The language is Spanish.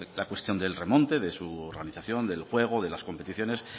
la cuestión del remonte de su organización del juego de las competiciones